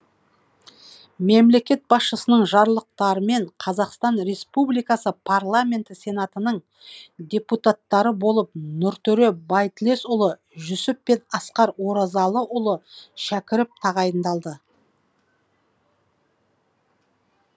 мемлекет басшысының жарлықтарымен қазақстан республикасы парламенті сенатының депутаттары болып нұртөре байтілесұлы жүсіп пен асқар оразалыұлы шәкіров тағайындалды